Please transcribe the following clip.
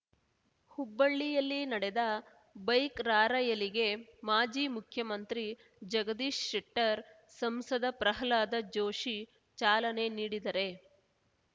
ಹುಬ್ಬಳ್ಳಿಯಲ್ಲಿ ನಡೆದ ಬೈಕ್‌ ರಾರ‍ಯಲಿಗೆ ಮಾಜಿ ಮುಖ್ಯಮಂತ್ರಿ ಜಗದೀಶ್ ಶೆಟ್ಟರ್‌ ಸಂಸದ ಪ್ರಹ್ಲಾದ ಜೋಶಿ ಚಾಲನೆ ನೀಡಿದರೆ